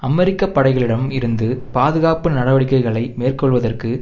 அமெரிக்க படைகளிடம் இருந்து பாதுகாப்பு நடவடிக்கைகளை மேற்கொள்வதற்கு